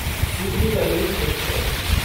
Suryanagari express